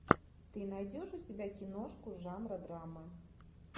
ты найдешь у себя киношку жанра драма